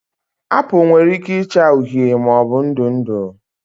Apụl nwere ike ịcha uhie maọbụ ndụ ndụ